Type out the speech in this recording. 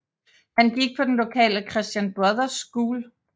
Han gik på den lokale Christian Brothers School